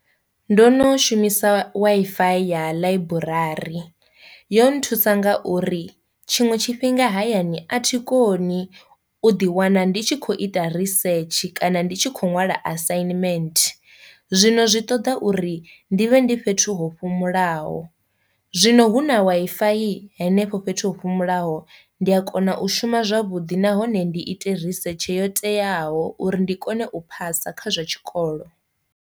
Ndo no shumisa Wi-Fi ya ḽaiburari, yo nthusa nga uri tshiṅwe tshifhinga hayani a thi koni u ḓi wana ndi tshi kho ita research kana ndi tshi khou ṅwala assignment, zwino zwi ṱoḓa uri ndi vhe ndi fhethu ho fhumulaho. Zwino hu na Wi-Fi henefho fhethu ho fhumulaho ndi a kona u shuma zwavhudi nahone ndi ite research yo teaho uri ndi kone u phasa kha zwa tshikolo.